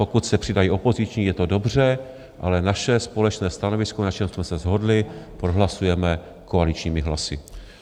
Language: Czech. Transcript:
Pokud se přidají opoziční, je to dobře, ale naše společné stanovisko, na čem jsme se shodli, prohlasujeme koaličními hlasy.